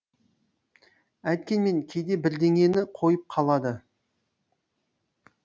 әйткенмен кейде бірдеңені қойып қалады